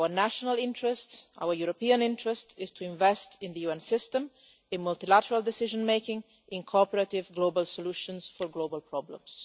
Our national interest, our European interest is to invest in the UN system, in multilateral decision making and in cooperative global solutions for global problems.